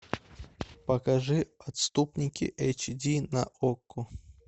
покажи отступники эйч ди на окко